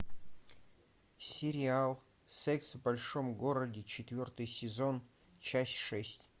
сериал секс в большом городе четвертый сезон часть шесть